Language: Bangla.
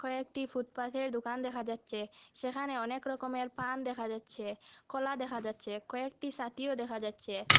এ একটি ফুটপাথে দোকান দেখা যাচ্ছে সেখানে অনেক রকমের পান দেখা যাচ্ছে কলা দেখা যাচ্ছে কয়েকটি সাতিও দেখা যাচ্ছে।